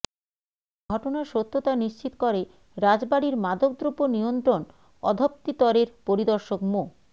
ঘটনার সত্যতা নিশ্চিত করে রাজবাড়ীর মাদকদ্রব্য নিয়ন্ত্রণ অধপ্তিরের পরিদর্শক মো